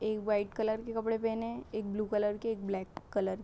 एक white colour के कपड़े पहने है एक ब्लू कलर के एक ब्लैक कलर --